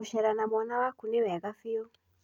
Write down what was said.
Ngũcera na mwana waku nĩ wega bĩũ.